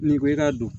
N'i ko i ka don